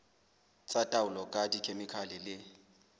tsa taolo ka dikhemikhale le